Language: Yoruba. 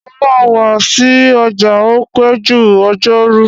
Mo máa wa si ọjà o pẹ́ jù ọjọ́rú